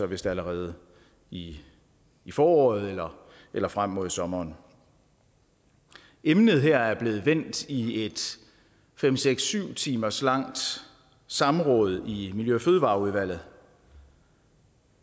vist allerede i i foråret eller eller frem mod sommeren emnet her er blevet vendt i et fem syv syv timers langt samråd i miljø og fødevareudvalget